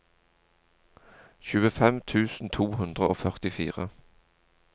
tjuefem tusen to hundre og førtifire